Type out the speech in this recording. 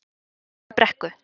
Stóru Brekku